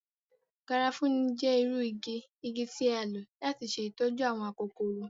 Garafuni jẹ iru igi igi ti a lo lati ṣe itọju awọn akokoro.